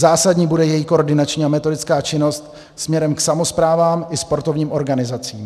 Zásadní bude její koordinační a metodická činnost směrem k samosprávám i sportovním organizacím.